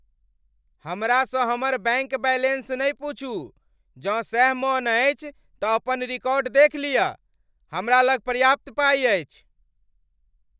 हमरासँ हमर bank balance नहि पूछू। जँ सैह मन अछि तँ अपन रिकॉर्ड देखि लियऽ। हमरा लग पर्याप्त पाइ अछि।